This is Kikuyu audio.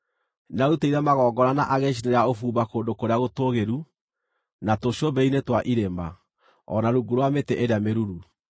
Nĩaarutĩire magongona na agĩcinĩra ũbumba kũndũ kũrĩa gũtũũgĩru, na tũcũmbĩrĩ-inĩ twa irĩma, o na rungu rwa mĩtĩ ĩrĩa mĩruru.